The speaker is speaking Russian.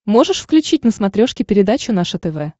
можешь включить на смотрешке передачу наше тв